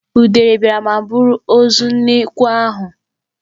Udele biara ma buru ozu nnekwu ahụ.